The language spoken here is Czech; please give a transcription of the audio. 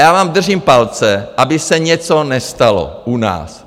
Já vám držím palce, aby se něco nestalo u nás.